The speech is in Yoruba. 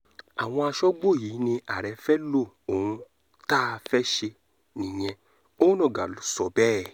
àwọn aṣọ́gbó yìí ní ààrẹ fẹ́ẹ́ lo ohun tá a fẹ́ẹ́ ṣe nìyẹn onáńgá ló sọ bẹ́ẹ̀